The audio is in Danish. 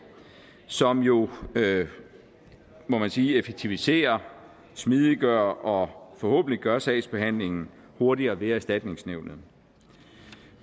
som jo må man sige effektiviserer smidiggør og forhåbentlig gør sagsbehandlingen hurtigere ved erstatningsnævnet